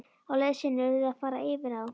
Á leið sinni urðu þau að fara yfir á.